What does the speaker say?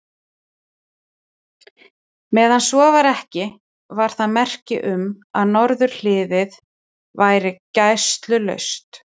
Meðan svo var ekki, var það merki um, að norðurhliðið væri gæslulaust.